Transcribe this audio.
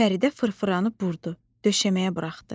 Fəridə fırfıranı burdu, döşəməyə buraxdı.